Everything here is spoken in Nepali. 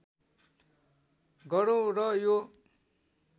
गरौं र यो